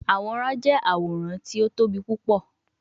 Aworan jẹ aworan ti o tobi pupọ